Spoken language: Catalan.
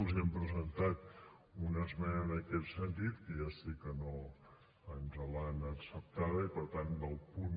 els hem presentat una esmena en aquest sentit que ja sé que no ens l’han acceptada i per tant del punt